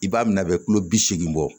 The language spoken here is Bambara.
I b'a minɛ a bɛ kulo bi seegin bɔ